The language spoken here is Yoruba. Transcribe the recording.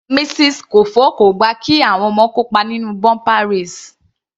Mrs Kofo kò gbà kí àwọn ọmọ kópa nínú bumper race.